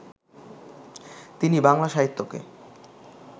তিনি বাংলা সাহিত্যকে